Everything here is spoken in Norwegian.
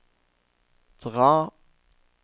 dra